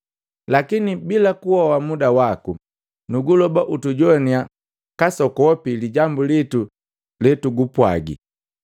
Lakini, bila kuhoa muda waku, nukuloba utujowaniya kasokopi lijambu litu letu kupwagi.